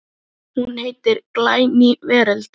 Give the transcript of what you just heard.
Hún heitir Glæný veröld.